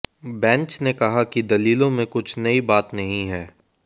bench ने कहा कि दलीलों में कुछ नई बात नहीं है